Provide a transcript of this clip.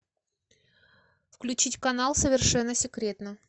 включить канал совершенно секретно